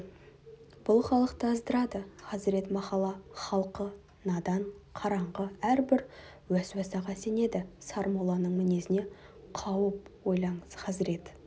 бұл халықты аздырады хазірет махалла халқы надан қараңғы әрбір уәсуәсаға сенеді сармолланың мінезінен қауіп ойлаңыз хазірет